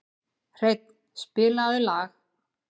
Hreinn, spilaðu lag.